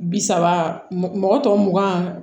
Bi saba mɔgɔ tɔ mugan